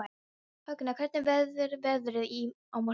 Högna, hvernig verður veðrið á morgun?